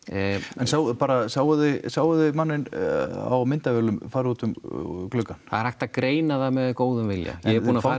en bara sáuð þið sáuð þið manninn á myndavélum fara út um gluggann það er hægt að greina það með góðum vilja ég er búinn að fara